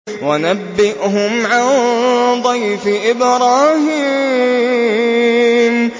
وَنَبِّئْهُمْ عَن ضَيْفِ إِبْرَاهِيمَ